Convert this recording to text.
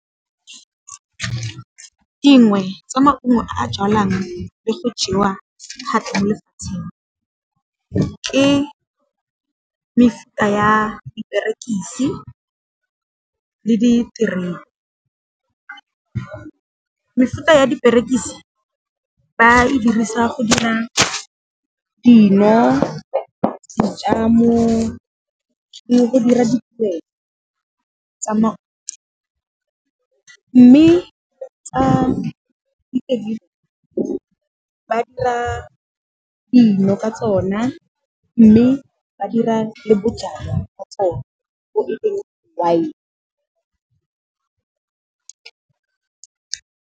Dingwe tsa maungo a jalwang le go jewa thata mo lefatsheng ke mefuta ya, diperekisi le diterene. Mefuta ya diperekisi ba e dirisa go dira dino, dijamo le go dira , mme tsa ba dira dino ka tsona mme ba dira le bojalwa ka tsona wine.